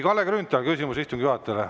Kalle Grünthal, küsimus istungi juhatajale.